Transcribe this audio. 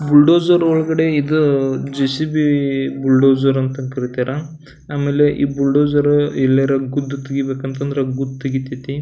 Bulldozer ಒಳ್ಗಡೆ ಈದೂ J. C. B bulldozer ಅಂತ ಕರೀತಾರ ಆಮೇಲೆ ಈ ಬ್ರುಲ್ಡೋಝರು ಎಲ್ಲರ ಗುದ್ದ್ ತೆಗಿಬೇಕಂತ ಅಂದ್ರೆ ಗುದ್ದ್ ತೆಗಿತೈತಿ.